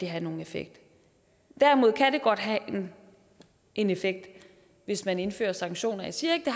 have nogen effekt derimod kan det godt have en effekt hvis man indfører sanktioner jeg siger ikke